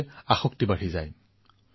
নজনাকৈয়ে নামি পৰে